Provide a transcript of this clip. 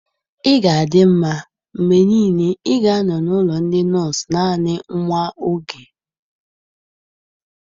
Ị ga-adị mma, mgbe niile, ị ga-anọ n'ụlọ ndị nọọsụ naanị nwa oge